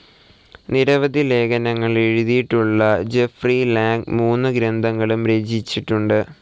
നിരവധി ലേഖനങ്ങൾ എഴുതിയിട്ടുള്ള ജെഫ്‌റി ലാങ് മൂന്നു ഗ്രന്ഥങ്ങളും രചിച്ചിട്ടുണ്ട്.